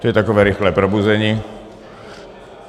To je takové rychlé probuzení.